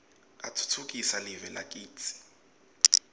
utfutfukisa live lakitsi